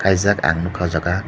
reejak ang nogka o jaga.